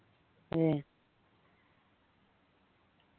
അതെ